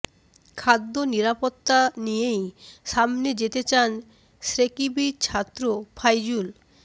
খাদ্য নিরাপত্তা নিয়েই সামনে যেতে চান শেকৃবির ছাত্র ফাইজুল